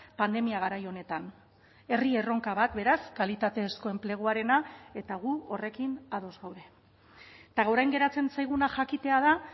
pandemia garai honetan herri erronka bat beraz kalitatezko enpleguarena eta gu horrekin ados gaude eta orain geratzen zaiguna jakitea da